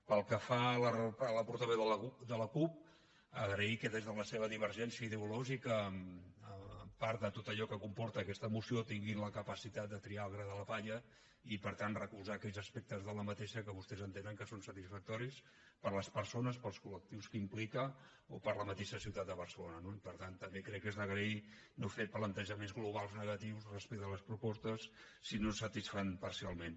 pel que fa a la portaveu de la cup agrair que des de la seva divergència ideològica amb part de tot allò que comporta aquesta moció tinguin la capacitat de triar el gra de la palla i per tant recolzar aquells aspectes d’aquesta que vostès entenen que són satisfactoris per a les persones per als col·lectius que implica o per a la mateixa ciutat de barcelona no i per tant també crec que és d’agrair no fer plantejaments globals negatius respecte a les propostes si no ens satisfan parcialment